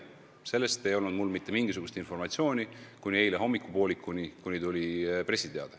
Selle kohta ei olnud mul mitte mingisugust informatsiooni kuni eile hommikupoolikuni, kui tuli pressiteade.